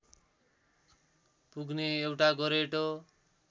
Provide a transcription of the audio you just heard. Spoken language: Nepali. पुग्न एउटा गोरेटो